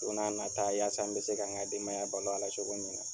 Don n'a nataa yasa n bɛ se ka n ka denbaya balo a la cogo min na.